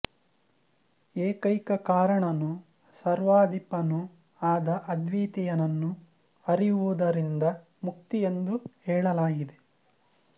ಏಕೈಕ ಕಾರಣನೂ ಸರ್ವಾಧಿಪನೂ ಆದ ಅದ್ವಿತೀಯನನ್ನು ಅರಿಯುವುದರಿಂದ ಮುಕ್ತಿ ಎಂದು ಹೇಳಲಾಗಿದೆ